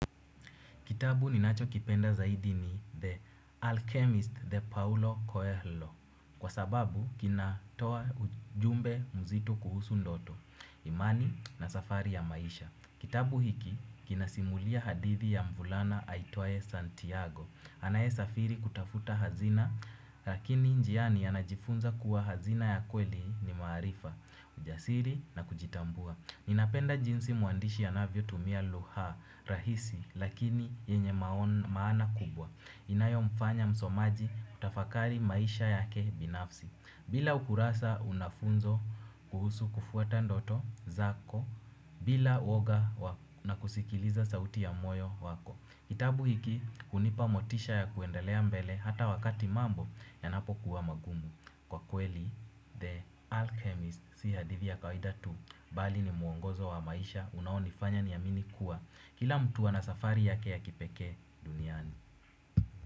Kitabu ninachokipenda zaidi ni The Alchemist The Paolo Coelho kwa sababu kinatoa ujumbe mzito kuhusu ndoto, imani na safari ya maisha. Kitabu hiki kinasimulia hadithi ya mvulana aitwaye Santiago. Anaesafiri kutafuta hazina lakini njiani anajifunza kuwa hazina ya kweli ni maarifa, ujasiri na kujitambua. Ninapenda jinsi mwandishi anavyotumia lugha rahisi lakini yenye maana kubwa. Inayomfanya msomaji kutafakari maisha yake binafsi bila ukurasa unafunzwa kuhusu kufuata ndoto zako bila uoga na kusikiliza sauti ya moyo wako. Kitabu hiki hunipa motisha ya kuendelea mbele hata wakati mambo yanapokuwa magumu. Kwa kweli, the alchemist si hadithi ya kawida tu bali ni mwongozo wa maisha. Unaonifanya niamini kuwa kila mtu ana safari yake ya kipeke duniani.